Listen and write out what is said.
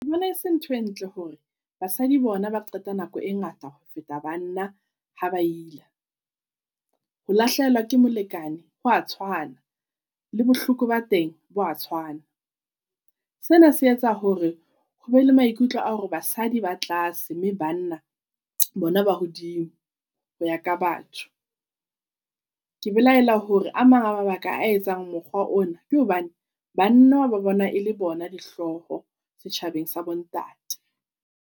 Ke bona e se ntho e ntle hore basadi bona ba qeta nako e ngata ho feta banna ha ba ila. Ho lahlehelwa ke molekane hwa tshwana, le bohloko ba teng bo a tshwana. Sena se etsa hore hobe le maikutlo a hore basadi ba tlase mme banna bona ba hodimo ho ya ka batho. Ke belahela hore a mang a mabaka a etsang mokgwa ona ke hobane banna ba bona e le bona dihlooho setjhabeng sa bo ntate.